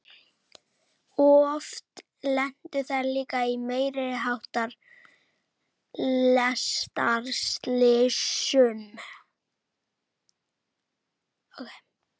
Oft lentu þær líka í meiri háttar lestarslysum.